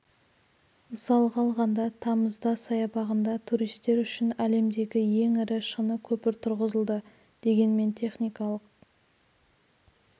мысалға алғанда тамызда саябағында туристер үшін әлемдегі ең ірі шыны көпір тұрғызылды дегенмен техникалық